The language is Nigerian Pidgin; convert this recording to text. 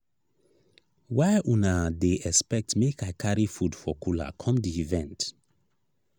why una dey expect make i carry food for cooler come di event?